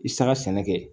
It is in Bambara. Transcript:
I saga sɛnɛ kɛ